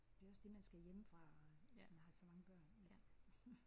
Det er også det man skal hjemmefra og hvis man har så mange børn ik